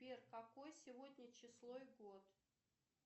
сбер какое сегодня число и год